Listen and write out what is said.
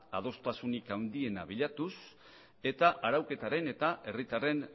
adostasunik handiena bilatuz eta arauketaren eta herritarren